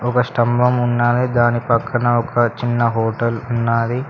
ఒక స్తంభం ఉన్నది దాని పక్కన ఒక చిన్న హోటల్ ఉన్నది.